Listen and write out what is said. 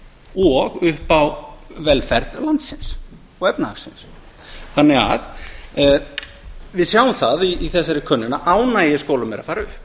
og upp á velferð landsins og efnahagsins við sjáum það í þessari könnun að ánægja í skólum er að fara upp